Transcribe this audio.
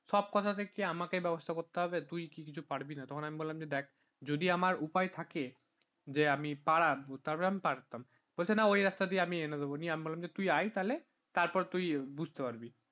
আমাকে ব্যবস্থা করতে হবে তুই তুই কি কিছু পারবি না তখন আমি বললাম যে দেখ যদি আমার উপায় থাকে যে আমি পাড়ার তাহলে আমি পারতাম। বলছে না ওই রাস্তা দিয়ে আমি এনে দেবো নিয়ে অমি বললাম বললাম তুই আয় তাহলে তারপর তুই বুঝতে পারবি